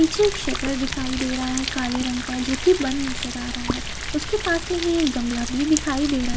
पीछे एक शटर दिखाई दे रहा है काले रंग का जो की बंद नजर आ रहा है उसके पास में ही एक गमला भी दिखाई दे रहा --